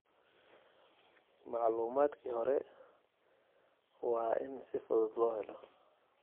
Macluumadkii hore waa in si fudud loo helo.